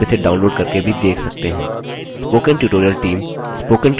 यदि आपके पास अच्छा बैन्डविड्थ नहीं है तो आप इसे download करके भी देख सकते हैं